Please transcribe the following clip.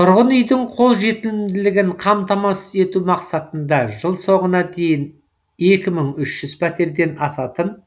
тұрғын үйдің қолжетімділігін қамтамасыз ету мақсатында жыл соңына дейін екі мың үш жүз пәтерден асатын